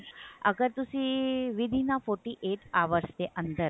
ਅਗਰ ਤੁਸੀਂ with in a forty eight hours ਦੇ ਅੰਦਰ